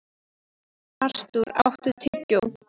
Artúr, áttu tyggjó?